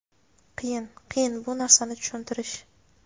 qiyin, qiyin bu narsani tushuntirish.